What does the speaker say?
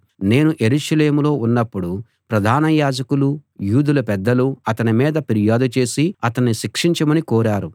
నేను యెరూషలేములో ఉన్నప్పుడు ప్రధాన యాజకులూ యూదుల పెద్దలూ అతని మీద ఫిర్యాదు చేసి అతణ్ణి శిక్షించమని కోరారు